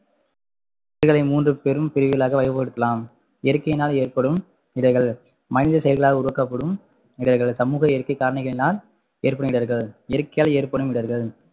இவைகளை மூன்று பெரும் பிரிவுகளாக வகைப்படுத்தலாம் இயற்கையினால் ஏற்படும் இடர்கள், மனித செயல்களால் உருவாக்கப்படும் இடர்கள், சமூக இயற்கை காரணிகளினால் ஏற்படும் இடர்கள் இயற்கையால் ஏற்படும் இடர்கள்